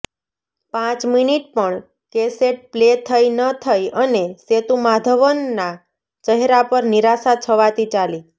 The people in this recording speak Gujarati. પાંચ મિનીટ પણ કેસેટ પ્લે થઇ ન થઇ અને સેતુમાધવનના ચહેરા પર નિરાશા છવાતી ચાલી